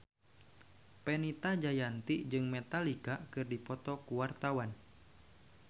Fenita Jayanti jeung Metallica keur dipoto ku wartawan